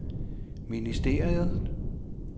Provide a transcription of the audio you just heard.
ministeriet